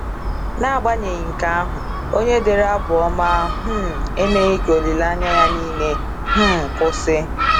N’agbanyeghị nke ahụ, onye dere Abụ Ọma um emeghị ka olileanya ya niile um kwụsị.